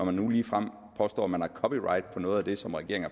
man nu ligefrem påstår at man har copyright på noget af det som regeringen